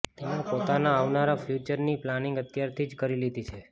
તેમણે પોતાના આવનારા ફ્યુચર ની પ્લાંનિંગ અત્યાર થી જ કરી લીધી છે